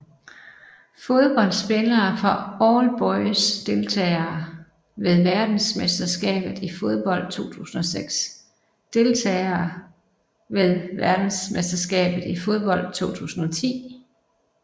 Fodboldspillere fra All Boys Deltagere ved verdensmesterskabet i fodbold 2006 Deltagere ved verdensmesterskabet i fodbold 2010